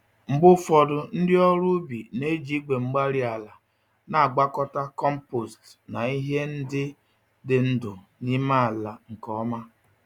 Mgbe ufodu, ndị ọrụ ubi na-eji igwe-mgbárí-ala na-agwakọta kompost na ihe ndị dị ndụ n'ime ala nke ọma.